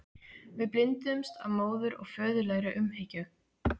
Við blinduðumst af móður- og föðurlegri umhyggju.